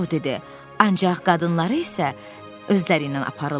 Co dedi: "Ancaq qadınları isə özləriylə aparırlar.